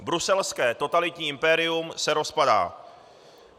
Bruselské totalitní impérium se rozpadá.